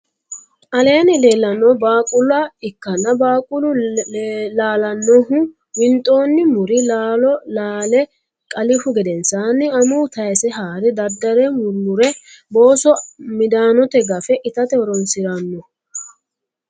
aleenni lellannohu baaqula ikkanna baaqulu laalannohu winxxonni muri laalo laale qaalihu gedensanni amuuwu tayise haare daddare murumure booso midaanote gafe itate horoonsiranno.